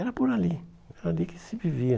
Era por ali ali que se vivia.